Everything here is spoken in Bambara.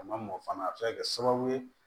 A ma mɔ fana a bɛ se ka kɛ sababu ye